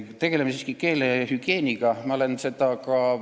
Tegeleme siiski keelehügieeniga!